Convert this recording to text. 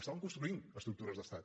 estaven construint estructures d’estat